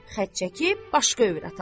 Xət çəkib başqa övrət alsın.